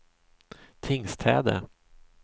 Tingstäde